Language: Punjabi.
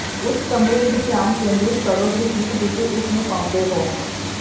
ਉਸ ਕਮਰੇ ਵਿਚ ਧਿਆਨ ਕੇਂਦਰਿਤ ਕਰੋ ਜਿਸ ਵਿਚ ਤੁਸੀਂ ਇਸ ਨੂੰ ਪਾਉਂਦੇ ਹੋ